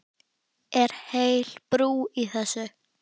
Er heil brú í þessu?